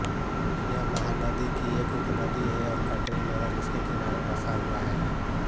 यह महानदी की एक उपनदी है और कटनी नगर इसके किनारे बसा हुआ है